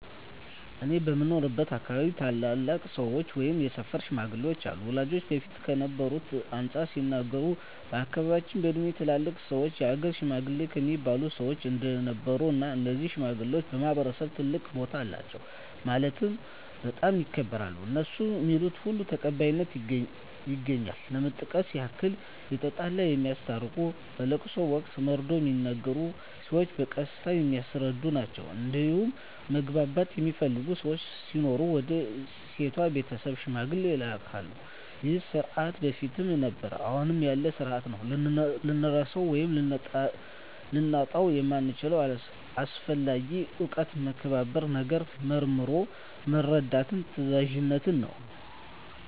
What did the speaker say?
እኔ በምኖርበት አካባቢ ታላላቅ ሰዎች ወይም የሰፈር ሽማግሌዎች አሉ ወላጆቼ በፊት ከነበረው አንፃር ሲነግሩኝ በአካባቢያቸው በእድሜ ትላልቅ ሰዎች የሀገር ሽማግሌ እሚባሉ ሰዎች እንደነበሩ እና እነዚህ ሽማግሌዎች በማህበረሰቡ ትልቅ ቦታ አላቸው ማለትም በጣም ይከበራሉ እነሡ ሚሉት ሁሉ ተቀባይነት ያገኛል ለመጥቀስ ያክል የተጣላ የሚያስታርቁ በለቅሶ ወቅት መርዶ ሚነገር ሲሆን በቀስታ የሚያስረዱ ናቸዉ እንዲሁም ማግባት የሚፈልግ ሰው ሲኖር ወደ ሴቷ ቤተሰብ ሽምግልና ይላካሉ ይህ ስርዓት በፊትም ነበረ አሁንም ያለ ስርአት ነው። ልንረሳው ወይም ልናጣው የምንችለው አስፈላጊ እውቀት መከባበርን፣ ነገርን መርምሮ መረዳትን፣ ታዛዝነትን ነው።